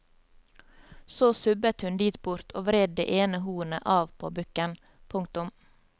Så subbet hun dit bort og vred det ene hornet av på bukken. punktum